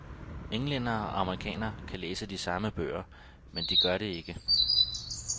Englændere og amerikanere kan læse de samme bøger, men de gør det ikke.